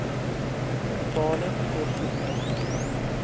totale kostes ingesluit